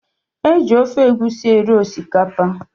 Eji ofe egusi eri osikapa.